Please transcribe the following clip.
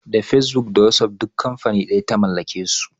Da fesbuk da wasuf duk kamfani ɗaya ka da mallakin su